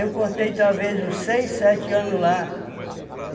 Eu cortei, talvez, uns seis, sete anos lá.